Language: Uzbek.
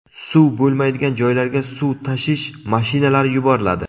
Suv bo‘lmaydigan joylarga suv tashish mashinalari yuboriladi.